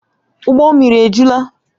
Ụgbọ mmiri a ejuola?